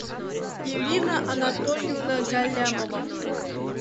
ирина анатольевна галямова